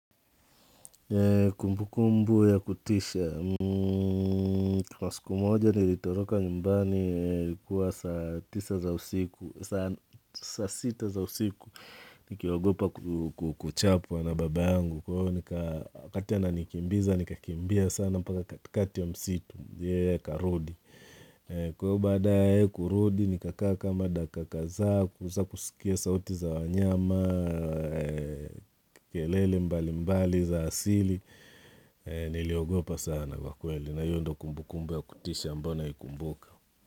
Kumbu kumbu ya kutisha Kwa siku moja nilitoroka nyumbani ilikuwa saa tisa za usiku Sasa sita za usiku Nikiogopa kuchapwa na baba yangu Kwa hiyo wakati anikakimbiza nikakimbia sana mpaka katikati ya msitu yeye akarudi Kwa hiyo baada ya yeye kurudi, nikakaa kama dakika kadhaa kueza kusikia sauti za wanyama, kelele mbali mbali za asili, niliogopa sana kwa kweli, na hiyo ndo kumbukumbu ya kutisha ambayo inakumbuka.